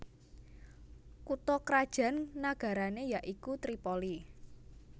Kutha krajan nagarané ya iku Tripoli